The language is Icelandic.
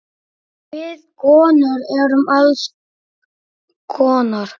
Við konur erum alls konar.